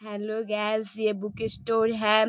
Hello guys ये book store है।